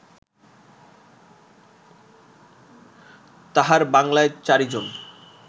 তাঁহার বাঙ্গলায় চারিজন